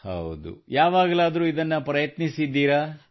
ಹೌದು ಯಾವಾಗಲಾದರೂ ಇದನ್ನು ಪ್ರಯತ್ನಿಸಿದ್ದೀರಾ